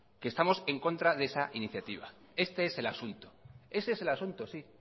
que estamos en contra de esa iniciativa este es el asunto ese es el asunto sí